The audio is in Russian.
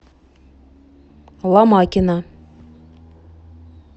ломакина